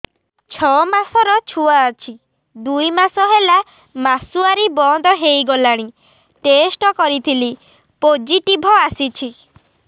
ଛଅ ମାସର ଛୁଆ ଅଛି ଦୁଇ ମାସ ହେଲା ମାସୁଆରି ବନ୍ଦ ହେଇଗଲାଣି ଟେଷ୍ଟ କରିଥିଲି ପୋଜିଟିଭ ଆସିଛି